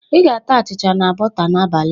"Ị ga-ata achịcha na bọta n'abalị a"